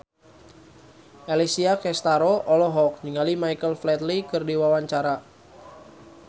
Alessia Cestaro olohok ningali Michael Flatley keur diwawancara